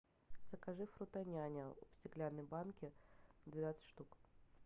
закажи фруто няня в стеклянной банке двенадцать штук